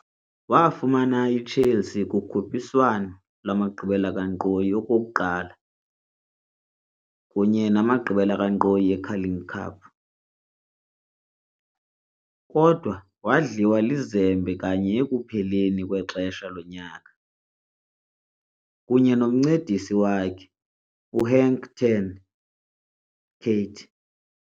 Wafumana iChelsea kukhuphiswano lwamagqibela kankqoyi okokuqala kunye namagqibela kankqoyi eCarling Cup, kodwa wadliwa lizembe kanye ekupheleni kwexesha lonyaka, kunye nomncedisi wakhe uHenk ten Cate.